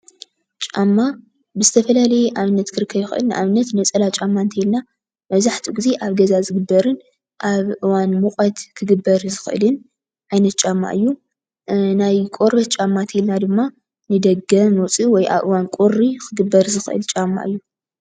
ጫማ ብዝተፈላለየ አብነት ክረክብ ይክእል። ንአብነት ነፀላ ጫማ እንተኢልና መብዛሕትኡ ግዘ አብ ገዛ ዝግበርን አብ እዋን ሙቀት ክግበር ዝክእልን ዓይነት ጫማ እዩ። ናይ ቆርበት ጫማ እንተኢልና ድማ ንደገ መውፅኢ ወይ አብ እዋን ቁሪ ክግበር ዝክእል ጫማ እዩ።